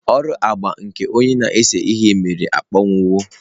Ọrụ agba nke onye na-ese ihe mere akpọnwụwo.